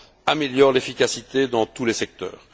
améliore l'efficacité dans tous les secteurs.